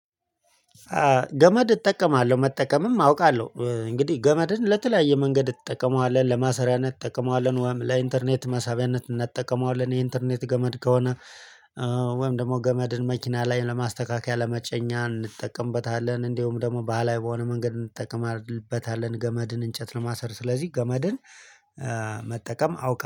ገመድ እጠቀማለሁ መጠቀምም አውቃለሁ እንግዲህ ገመድን ለተለያየ መንገድ እንጠቀመዋለን ለማሰሪያነት እንጠቀመዋለን ወይም ለኢንተርኔት መሳቢያነት እንጠቀመዋለን የኢንተርኔት ገመድ ከሆነ ወይም ደግሞ ገመድን መኪና ላይ ለማስተካከያ ለመጫኛ እንጠቀምበታለን እንዲሁም ደግሞ ባህላዊ በሆነ መንገድ እንጠቀምበታለን ገመድን እንጨት ለማሰር ስለዚህ ገመድን መጠቀም አውቃለሁ